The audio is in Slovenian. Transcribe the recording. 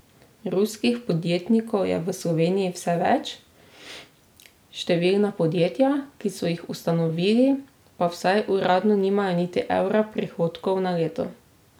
Ruskih podjetnikov je v Sloveniji vse več, številna podjetja, ki so jih ustanovili, pa vsaj uradno nimajo niti evra prihodkov na leto.